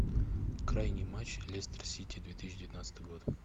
крайний матч лестер сити две тысячи девятнадцатый год